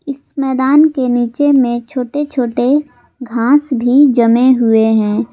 इस मैदान के नीचे में छोटे छोटे घांस भी जमे हुए हैं।